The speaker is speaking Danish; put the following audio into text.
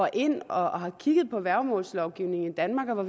ind og har kigget på værgemålslovgivningen i danmark og